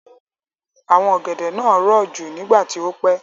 Àwọn ọ̀gẹ̀dẹ̀ náà rọ̀ jù nígbà tí ó pẹ́.